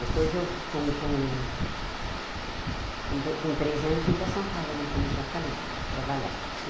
Depois eu, com com com do com treze anos, vim para São Paulo, como eu já falei, trabalhar.